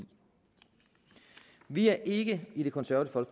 vi er ikke i det konservative